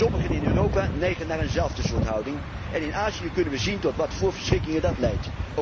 Sommigen in Europa neigen naar eenzelfde soort houding en in Azië kunnen wij zien tot welke verschrikkingen dat leidt.